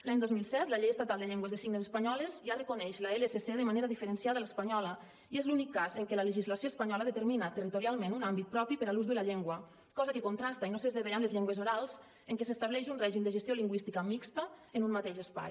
l’any dos mil set la llei estatal de llengües de signes espanyoles ja reconeix l’lsc de manera diferenciada a l’espanyola i és l’únic cas en què la legislació espanyola determina territorialment un àmbit propi per a l’ús de la llengua cosa que contrasta i no s’esdevé amb les llengües orals en què s’estableix un règim de gestió lingüística mixt en un mateix espai